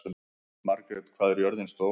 Margret, hvað er jörðin stór?